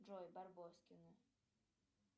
джой барбоскины